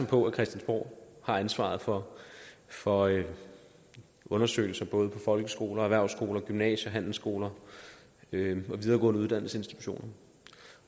på at christiansborg har ansvaret for for undersøgelser både på folkeskoler erhvervsskoler gymnasier handelsskoler og videregående uddannelsesinstitutioner